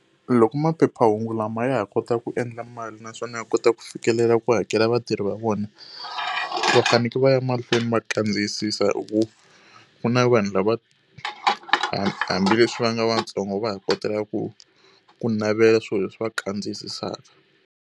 Loko maphephahungu lama ya ha kota ku endla mali naswona ya kota ku fikelela ku hakela vatirhi va vona, va fanekele va ya mahlweni ma kandziyisisa hikuva ku na vanhu lava hambileswi va nga vantsongo va ha kotaka ku ku navela swilo leswi va kandziyisaka.